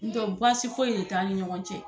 N tɛ baasi foyi de t'an ni ɲɔgɔn cɛ